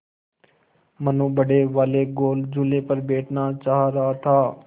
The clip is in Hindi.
मनु बड़े वाले गोल झूले पर बैठना चाह रहा था